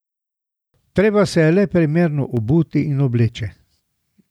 Treba se je le primerno obuti in obleči.